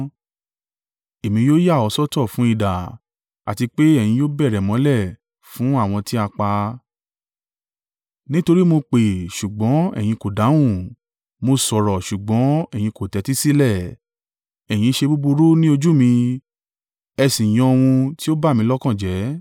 Èmi yóò yà ọ́ sọ́tọ̀ fún idà, àti pé ẹ̀yin yóò bẹ̀rẹ̀ mọ́lẹ̀ fún àwọn tí a pa; nítorí mo pè, ṣùgbọ́n ẹ̀yin kò dáhùn. Mo sọ̀rọ̀ ṣùgbọ́n ẹ̀yin kò tẹ́tí sílẹ̀. Ẹ̀yin ṣe búburú ní ojú mi ẹ sì yan ohun tí ó bà mí lọ́kàn jẹ́.”